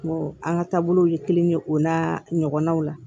Ko an ka taabolow ye kelen ye o n'a ɲɔgɔnnaw la